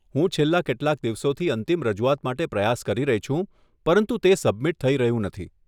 હું છેલ્લા કેટલાક દિવસોથી અંતિમ રજૂઆત માટે પ્રયાસ કરી રહી છું, પરંતુ તે સબમિટ થઈ રહ્યું નથી.